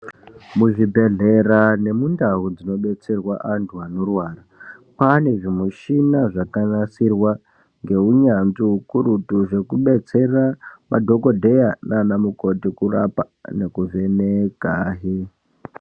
Muzvibhedhlera nemundawo dzinobetserwa antu anorwara, panezvimushina zvakarasirwa ngewunyandzvi kurutu zvekudetsera madhokodheya nanamukoti kurapa nekuvheneka.